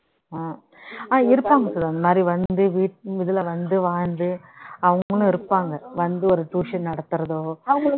ஆஹ் ஆஹ் இருப்பாங்க சுதா அந்த மாதிரி வந்து வீ இதுல வந்து வாழ்ந்து அவங்களும் இருப்பாங்க வந்து ஒரு tuition நடத்துறதோ